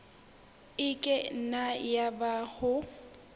e ka nna yaba o